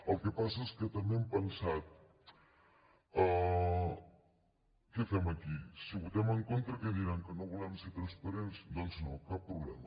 el que passa és que també hem pensat què fem aquí si votem en contra què diran que no volem ser transparents doncs no cap problema